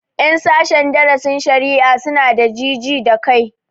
Ƴan sashen darasin shari'a su na da ji ji da kai